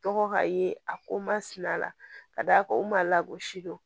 Tɔgɔ ka ye a ko masina ka d'a kan o man lagosi dɔn